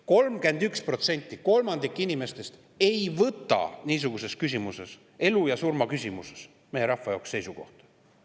31%, kolmandik inimestest, ei võta aga niisuguses küsimuses, elu ja surma küsimuses meie rahva jaoks, seisukohta.